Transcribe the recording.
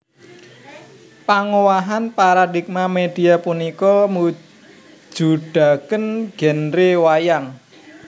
Pangowahan paradigma media punika mujudaken genre wayang